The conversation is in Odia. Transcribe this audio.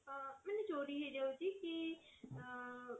ତ ମାନେ ଚୋରି ହେଇ ଯାଉଛି କି ଆ